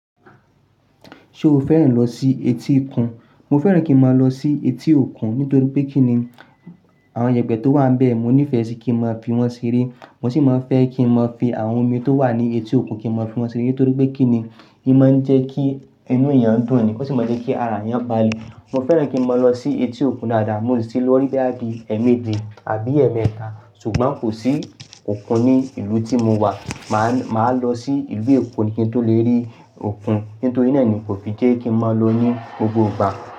Ṣé o fẹ́ràn lọ sí etí òkun? Mo fẹ́ràn kí n máa lọ sí etí òkun nítorí pé kí ni àwọn ìyẹ̀pẹ̀ tó wà bẹ́ẹ̀ mo nífẹ̀ẹ́ sí kí n máa fi wọ́n sí sere Mo sì máa fẹ́ kí n máa fi àwọn omi tó wà ní etí òkun kí n máa fi wọ́n sere nítorí pé kí ni, hin mo ń jẹ́ kí inú èèyàn dùn ni ò sì máa jẹ́ kí ara èèyàn balẹ̀. Mo fẹ́ràn kí n máa lọ sí etí òkun dáadáa, mo sì lọ rí i bí i ẹ́ẹ̀mẹ́ẹ́je àbí ẹ́ẹ̀mẹ́ẹ́ta ṣùgbọ́n kò sí òkun ní ìlú tí mo wà. Máa lọ sí ìlú Èkó ni kí n tó le rí òkun, nítorí náà ni kò fi jẹ́ kí n máa lọ ní gbogbo ìgbà.